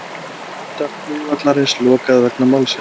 Var hluta flugvallarins lokað vegna málsins